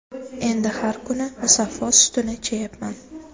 Endi har kuni Musaffo sutini ichayapman”.